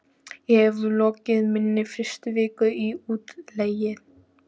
Ég hef lokið minni fyrstu viku í útlegð.